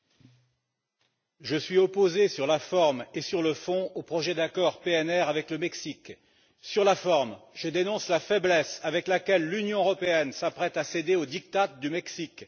Monsieur le Président, je suis opposé sur la forme et sur le fond au projet d'accord PNR avec le Mexique. Sur la forme, je dénonce la faiblesse avec laquelle l'Union européenne s'apprête à céder au diktat du Mexique.